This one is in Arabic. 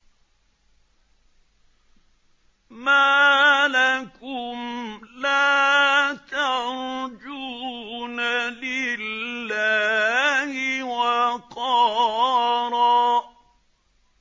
مَّا لَكُمْ لَا تَرْجُونَ لِلَّهِ وَقَارًا